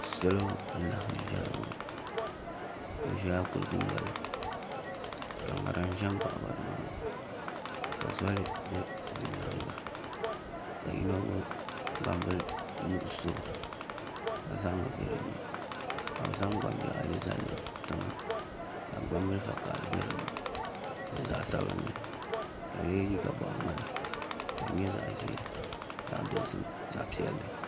Salo n laɣam ʒɛya ŋɔ bi ʒɛla kuligi noli ka ŋarim ʒɛ n baɣaba nimaani ka soli bɛ di nyaanga ka yino gbubi gbambili nuɣso ka zahama bɛ dinni ka bi zaŋ gbambihi ayi zali tiŋa ka gbambili vakaɣali bɛ dinni ni zaɣ sabinli ka bi yɛ liiga boɣa ŋmahi ka di nyɛ zaɣ ʒiɛ zaɣ dozim ni zaɣ sabinli